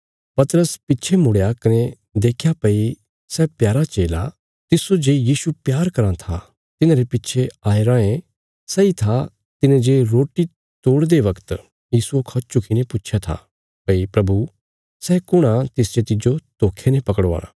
पतरस पिच्छे मुड़या कने देख्या भई सै प्यारा चेला तिस्सो जे यीशु प्यार कराँ था तिन्हांरे पिछे आये राँये सैई था तिने जे रोटी तोड़दे बगत यीशुये खौ झुकीने पुच्छया था भई प्रभु सै कुण आ तिस जे तिज्जो धोखे ने पकड़वाणा